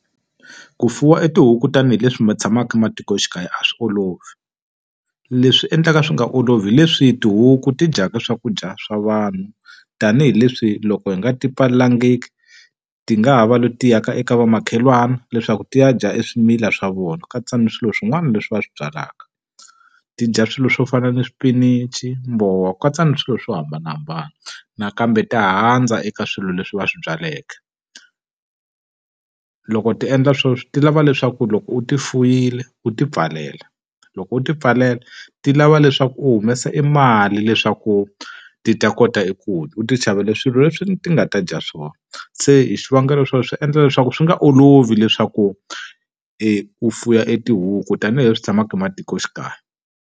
Ku fuwa i tihuku tanihileswi ma tshamaka matikoxikaya a swi olovi. Leswi endlaka swi nga olovi leswi tihuku ti dyaka swakudya swa vanhu, tanihileswi loko hi nga ti pfalelangiki ti nga ha va leti ya ka eka vamakhelwana leswaku ti ya dya eswimilana swa vona, ku katsa ni swilo swin'wana leswi va swi byalaka. Ti dya swilo swo fana ni swipinichi, ku katsa na swilo swo hambanahambana. Nakambe ta handza eka swilo leswi va swi byaleke. Loko ti endla sweswo ti lava leswaku loko u ti fuwile u ti pfalela. Loko u ti pfalela ti lava leswaku u humesa emali leswaku ti ta kota eku u ti xavela swilo leswi ti nga ta dya swona. Se hi swivangelo swo swi endla leswaku swi nga olovi leswaku u fuwa etihuku tanihileswi tshamaka ematikoxikaya.